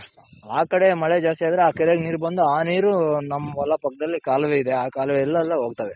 ಆ ಕಡೆ ಮಳೆ ಜಾಸ್ತಿ ಆದ್ರೆ ಆ ಕೆರೆಲಿ ನೀರ್ ಬಂದು ಆ ನೀರು ನಮ್ ಹೊಲ ಪಕ್ದಲ್ಲಿ ಕಾಲುವೆ ಇದೆ ಆ ಕಾಲುವೆಲೆಲ್ಲ ಹೋಗ್ತಾವೆ.